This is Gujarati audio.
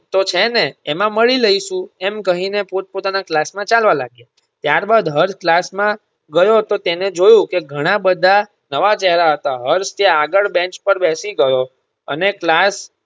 તો છે ને એમાં મળી લઈશુ એમ કહી ને પોત-પોતાના class માં ચાલવા લાગ્યા. ત્યાર બાદ હર્ષ class ગયો તો તેણે જોયું કે ઘણા બધા નવા ચેહરા હતા. હર્ષ ત્યાં આગળ bench પર બેસી ગયો અને class